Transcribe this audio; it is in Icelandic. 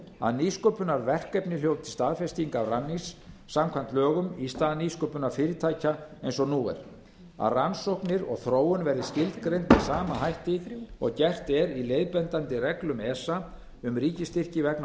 að nýsköpunarverkefni hljóti staðfestingu af rannís samkvæmt lögunum í stað nýsköpunarfyrirtækja eins og nú er að rannsóknir og þróun verði skilgreind með sama hætti og gert er í leiðbeinandi reglum esa um ríkisstyrki vegna